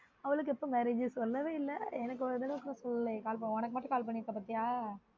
அவளுக்கு எப்ப marriage சொல்லவே இல்ல எனக்கு ஒரு தடவ கூட சொல்லல உனக்கு மட்டும் call பண்ணிருக்கா பாத்தியா